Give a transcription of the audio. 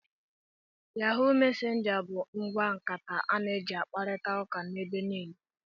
Yahụụ mesenja bụ ngwa nkata a na eji akparita ụka ebe niile.